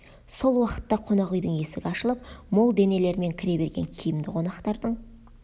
сол уақытта қонақ үйдің есігі ашылып мол денелермен кіре берген киімді қонақтардың